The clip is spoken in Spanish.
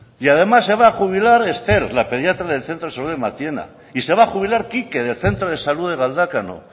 y además se va a jubilar esther la pediatra del centro de salud de matiena y se va a jubilar kike del centro de salud de galdakao